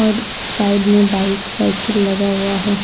और साइड में bike cycle लगा हुआ है।